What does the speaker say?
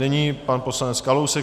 Nyní pan poslanec Kalousek.